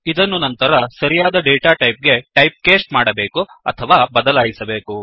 ಇದನ್ನು ನಂತರ ಸರಿಯಾದ ಡೇಟಾಟೈಪ್ ಗೆ typecasteಟೈಪ್ ಕ್ಯಾಸ್ಟ್ ಮಾಡಬೇಕು ಅಥವಾ ಬದಲಾಯಿಸಬೇಕು